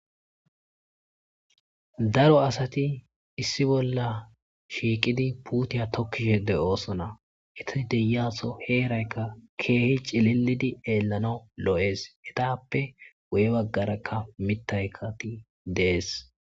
daro asati issi bolla shiiqidi puutiya tokkishe de7oosona eta deyaso heeraykka keehi cililidi eellanawu lo7ees hetappe wu7e baggarakka mitaykati dees